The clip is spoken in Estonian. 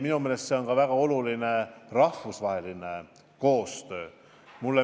Minu meelest on väga oluline ka rahvusvaheline koostöö.